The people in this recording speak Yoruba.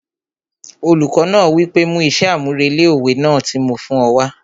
Olùkọ náà wí pé 'mú iṣẹ́ àmúrelé òwe náà tí mo fún ọ wá'